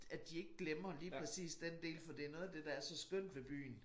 At de ikke glemmer lige præcis den del for det noget af det der er så skønt ved byen